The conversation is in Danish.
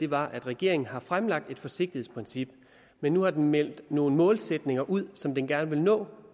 var at regeringen har fremlagt et forsigtighedsprincip men nu har meldt nogle målsætninger ud som den gerne vil nå